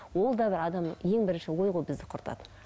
ол да бір адамның ең бірінші ой ғой бізді құртатын